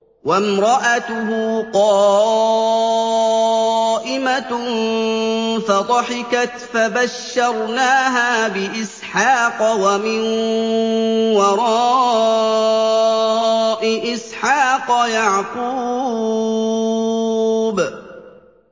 وَامْرَأَتُهُ قَائِمَةٌ فَضَحِكَتْ فَبَشَّرْنَاهَا بِإِسْحَاقَ وَمِن وَرَاءِ إِسْحَاقَ يَعْقُوبَ